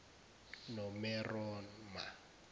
nomeroma